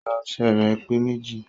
"Igbá ọṣẹ rẹ pe méjì